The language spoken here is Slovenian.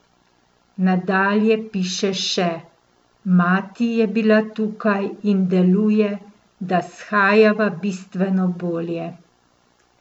Nadalje piše še: 'Mati je bila tukaj in deluje, da shajava bistveno bolje.